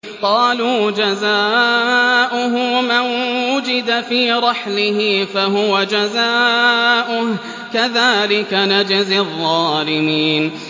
قَالُوا جَزَاؤُهُ مَن وُجِدَ فِي رَحْلِهِ فَهُوَ جَزَاؤُهُ ۚ كَذَٰلِكَ نَجْزِي الظَّالِمِينَ